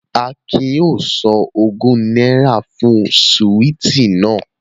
Akin yóò san ogún náírà fún síwìtì náà